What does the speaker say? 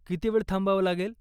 किती वेळ थांबावं लागेल?